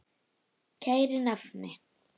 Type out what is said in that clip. Kæri nafni.